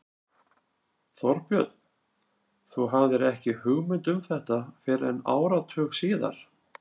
Þorbjörn: Þú hafðir ekki hugmynd um þetta fyrr en áratug síðar?